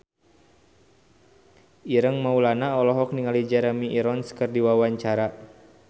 Ireng Maulana olohok ningali Jeremy Irons keur diwawancara